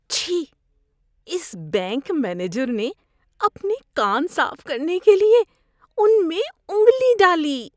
چھی۔ اس bank manager نے اپنے کان صاف کرنے کے لیے ان میں انگلی ڈالی۔